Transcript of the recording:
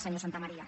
senyor santamaría